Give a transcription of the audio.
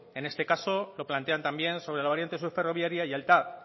en este caso lo plantean también sobre la variante sur ferroviaria y el tav